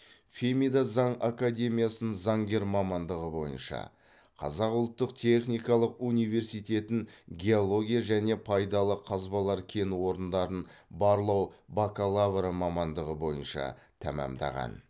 фемида заң академиясын заңгер мамандығы бойынша қазақ ұлттық техникалық университетін геология және пайдалы қазбалар кен орындарын барлау бакалавры мамандығы бойынша тәмамдаған